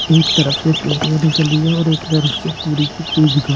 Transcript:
एक तरफ से पूरे और एक तरफ से पूरी की पूरी दिखा --